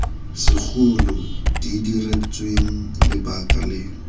segolo di diretsweng lebaka le